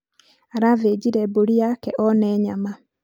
arathĩnjire mbũri yake one nyama